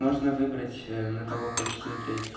можно выбрать на кого хочешь смотреть